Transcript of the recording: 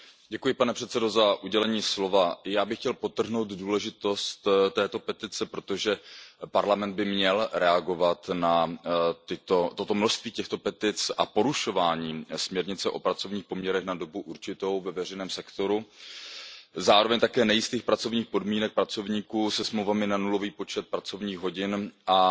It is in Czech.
Pane předsedající, já bych chtěl podtrhnout důležitost této petice, protože Evropský parlament by měl reagovat na množství těchto petic a porušování směrnice o pracovních poměrech na dobu určitou ve veřejném sektoru, zároveň také na nejisté pracovní podmínky pracovníků se smlouvami na nulový počet pracovních hodin a